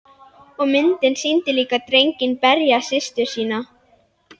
Og myndin sýndi líka drenginn berja systur sína.